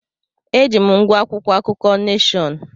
Eji m ngwá akwụkwọ akụkọ Neshọn.